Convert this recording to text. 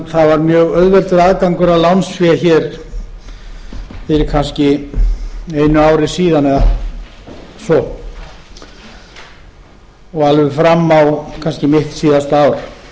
það var mjög auðveldur aðgangur að lánsfé hér fyrir kannski einu ári síðan eða svo og alveg fram á kannski mitt síðasta